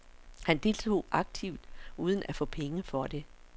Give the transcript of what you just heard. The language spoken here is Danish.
Han deltog aktivt uden at få penge for det.